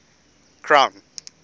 crown